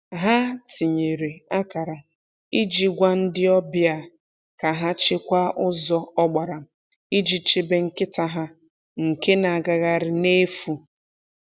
Ha tinyere akara iji gwa ndị ọbịa ka ha chekwaa ụzọ ọgbara iji chebe nkịta ha nke na-agagharị n’efu.